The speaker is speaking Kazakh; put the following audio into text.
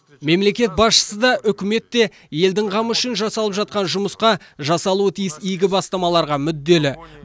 мемлекет басшысы да үкімет те елдің қамы үшін жасалып жатқан жұмысқа жасалуы тиіс игі бастамаларға мүдделі